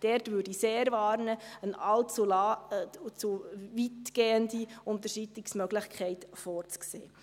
Da würde ich sehr warnen, eine allzu weitgehende Unterschreitungsmöglichkeit vorzusehen.